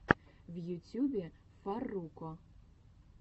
в ютюбе фарруко